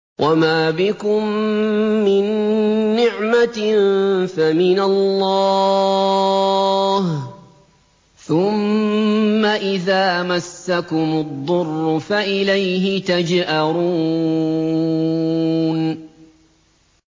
وَمَا بِكُم مِّن نِّعْمَةٍ فَمِنَ اللَّهِ ۖ ثُمَّ إِذَا مَسَّكُمُ الضُّرُّ فَإِلَيْهِ تَجْأَرُونَ